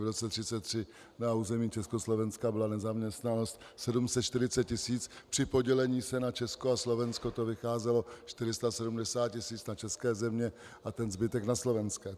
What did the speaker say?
V roce 1933 na území Československa byla nezaměstnanost 740 tis., při podělení se na Česko a Slovensko to vycházelo 470 tis. na české země a ten zbytek na Slovensko.